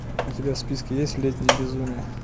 у тебя в списке есть летнее безумие